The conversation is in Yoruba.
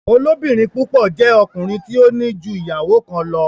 Olobirin púpọ jé ọkùnrin tí o ní jú ìyàwó kán lọ.